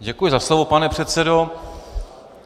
Děkuji za slovo, pane předsedo.